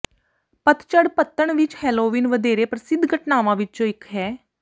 ਪਤਝੜ ਪੱਤਣ ਵਿੱਚ ਹੇਲੋਵੀਨ ਵਧੇਰੇ ਪ੍ਰਸਿੱਧ ਘਟਨਾਵਾਂ ਵਿੱਚੋਂ ਇਕ ਹੈ